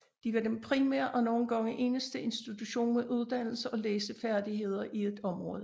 De var den primære og nogle gange eneste institution med uddannelse og læsefærdigheder i et område